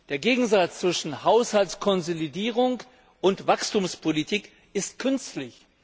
Der Gegensatz zwischen Haushaltskonsolidierung und Wachstumspolitik ist künstlich.